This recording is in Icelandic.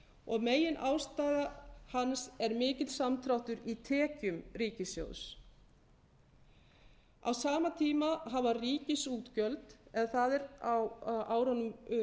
og meginástæða hans er mikill samdráttur í tekjum ríkissjóðs á sama tíma eða á árunum